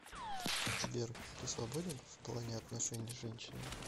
сбер ты свободен в плане отношений с женщинами